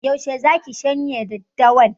Yaushe zaki shanya daddawan?